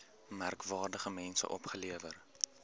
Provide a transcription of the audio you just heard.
merkwaardige mense opgelewer